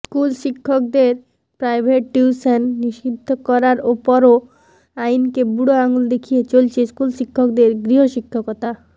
স্কুলশিক্ষকদের private tuition নিষিদ্ধ করার পরও আইনকে বুড়ো আঙুল দেখিয়ে চলছে স্কুল শিক্ষকদের গৃহশিক্ষকতা